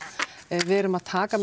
við erum að taka